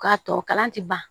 K'a tɔ kalan ti ban